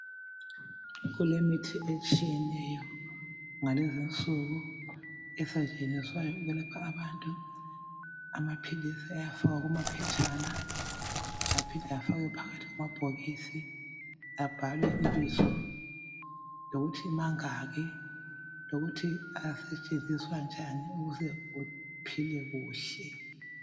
Kulemithi etshiyeneyo ngalezinsuku esetshenziswayo ukwelapha abantu. Amaphilisi ayafakwa kumaphetshana aphinde afakwe phakathi kwamabhokisi, abhalwe ibizo lokuthi mangaki lokuthi asetshenziswa njani ukuze uphile kuhle.